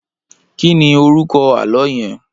Kìní órúkò àlõ yèn?